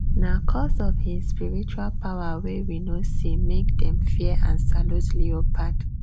nah coz of hin spiritual power way we no see make dem fear and salute leopard